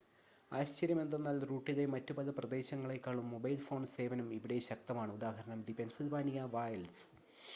ആശ്ചര്യമെന്തെന്നാൽ റൂട്ടിലെ മറ്റ് പല പ്രദേശങ്ങളേക്കാളും മൊബൈൽ ഫോൺ സേവനം ഇവിടെ ശക്തമാണ് ഉദാ ദി പെൻസിൽവാനിയ വൈൽഡ്‌സ്